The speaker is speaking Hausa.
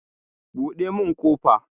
Buɗe mun ƙofa!